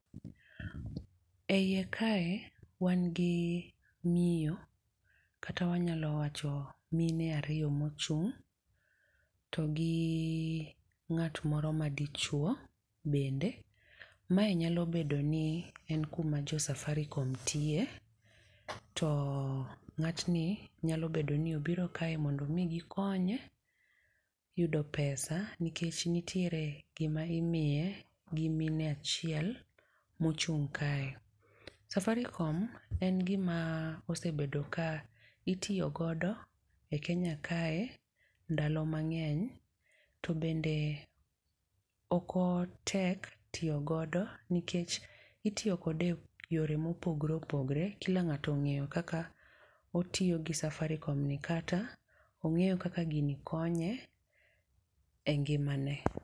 Eie kae wan gi miyo, kata wanyalo wacho mine ariyo mochung' to gi ng'at moro madichuo bende. Mae nyalo bedo ni en kuma jo Safaricom tie to ng'atni nyalo bedo ni obiro kae mondo migi konye yudo pesa. Nikech nitiere gima imiye gi mine achiel mochung' kae. Safaricom en gima osebedo ka itiyo godo e Kenya kae ndalo mang'eny, to bende ok otek tiyo godo nikech itiyo kode yore mopogore opogore, kila ng'ato ong'eyo kaka otiyo gi Safaricomni. Kata, ong'eyo kaka gini konye e ngimane.